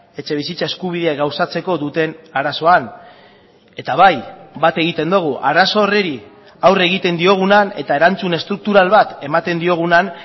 etxebizitza eskubidea gauzatzeko duten arazoan eta bai bat egiten dugu arazo horri aurre egiten diogunean eta erantzun estruktural bat ematen diogunean